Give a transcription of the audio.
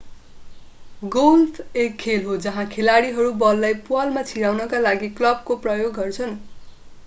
golf एक खेल हो जहाँ खेलाडीहरू बललाई प्वालमा छिराउनका लागि क्लबको प्रयोग गर्छन्